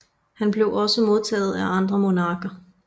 Han blev også modtaget af andre monarker